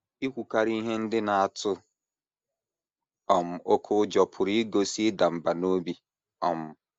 Ikwukarị ihe ndị na - atụ um oké ụjọ pụrụ igosi ịda mbà n’obi. um